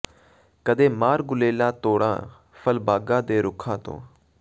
ਕਦੇ ਮਾਰ ਗੁਲੇਲਾਂ ਤੋੜਾਂ ਫਲ ਬਾਗਾਂ ਦੇ ਰੁੱਖਾਂ ਤੋਂ